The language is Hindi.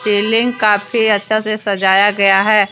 सीलिंग काफी अच्छा से सजाया गया है।